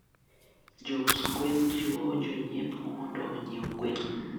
jous gwen jiwo jonyiepo mondo onyie gwen